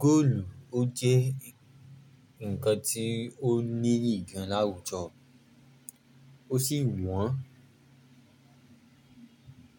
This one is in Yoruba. Góòlù, ó jẹ́ ǹkan tí ó níyì gan láwùjọ, ó sì wọ́n.